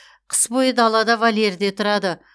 қыс бойы далада вольерде тұрады